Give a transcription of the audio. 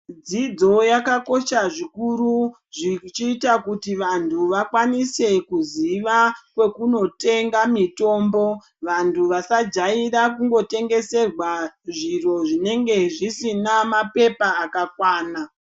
Dzidzo yakakosha zvikuru, zvichiyita kuti vantu vakwanise kuziva kwekunotenga mitombo. Vantu vasajayira kungotengeserwa zviro zvinenge zvisina mapepa akakwana.